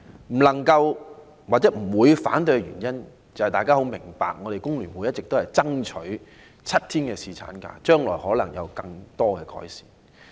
不能支持或不會反對的原因，相信大家也很明白，便是香港工會聯合會一直爭取7天侍產假，將來可能還會有進一步的改善。